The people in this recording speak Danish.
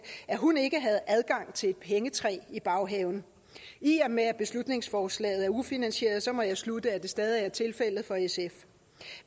at hun ikke havde adgang til et pengetræ i baghaven i og med at beslutningsforslaget er ufinansieret må jeg slutte at det stadig er tilfældet for sf